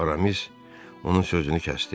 Aramis onun sözünü kəsdi.